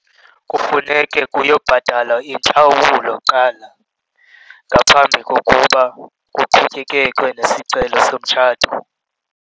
Kufuneke kuyobhatalwa intlawulo kuqala ngaphambi kokuba kuqhutyekekwe nesicelo somtshato.